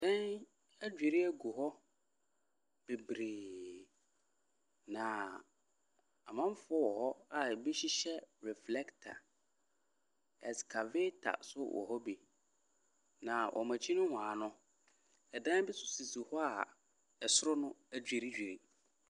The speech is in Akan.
Dan adwiri agu hɔ bebree, na amanfoɔ wɔ hɔ a ebi hyehyɛ reflector. Excavator nso wɔ hɔ bi, na wɔn akyi nohoa no, dan bi nso sisi hɔ a ɛsoro no adwiridwiri.